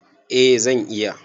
Eh zan iya.